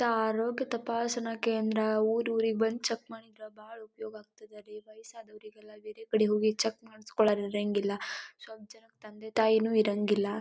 ಆರೋಗ್ಯ ತಪಾಸಣಾ ಕೇಂದ್ರ ಊರೂರಿಗೆ ಬಂದ ಚೆಕ್ ಮಾಡ್ತಾರ ಬಾಳ ಉಪಯೋಗ ಆಗ್ತದ ರೀ ವಯಸಾದವರಿಗೆಲ್ಲ ಬೇರೆಕಡೆ ಹೋಗಿ ಚೆಕ್ ಮಾಡಿಸ್ಕೊಳ್ಳರ್ ಇರ್ರಂಗಿಲ್ಲ ಸ್ವಲ್ಪ್ ಜನಕ್ಕ ತಂದೆ ತಾಯಿನೂ ಇರಂಗಿಲ್ಲ.